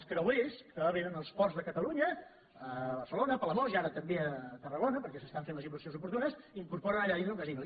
els creuers que vénen als ports de catalunya a barcelona a palamós i ara també a tarragona perquè s’hi fan les inversions oportunes incorporen allà dins un casino